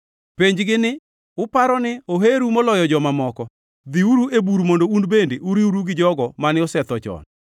Penj-gi ni, ‘Uparo ni oheru moloyo joma moko? Dhiuru e bur mondo un bende uriwru gi jogo mane osetho chon.’